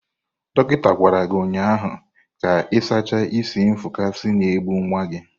Dọkịta gwara gị ụnyahụ ka ị sachaa isi nfụkasị na-egbu nwa gị